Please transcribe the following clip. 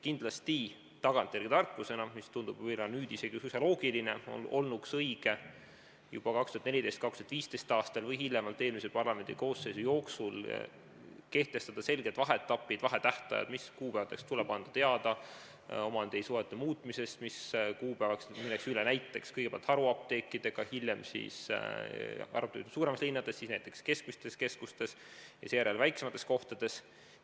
Kindlasti tagantjärele tarkusena, mis tundub võib-olla nüüd isegi suisa loogiline, olnuks õige juba 2014. või 2015. aastal või hiljemalt eelmise parlamendikoosseisu jooksul kehtestada selged vaheetapid, vahetähtajad, mis kuupäevaks tuleb anda teada omandisuhete muutumisest, mis kuupäevaks tuleb haruapteekidega teha muudatusi näiteks kõigepealt suuremates linnades, siis näiteks keskmise suurusega keskustes ja seejärel väiksemates kohtades.